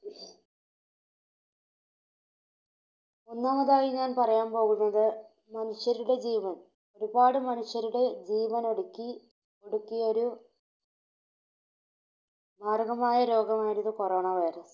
ഒന്നാമതായി ഞാൻ പറയാൻ പോകുന്നത്, മനുഷ്യരുടെ ജീവൻ. ഒരുപാട് മനുഷ്യരുടെ ജീവനൊടുക്കി, ഒടുക്കിയൊരു മാരകമായ രോഗമായിരുന്നു Corona virus.